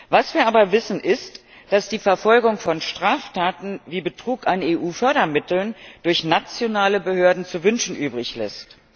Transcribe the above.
Was wir aber wissen, ist, dass die Verfolgung von Straftaten wie Betrug an EU Fördermitteln durch nationale Behörden zu wünschen übrig lässt.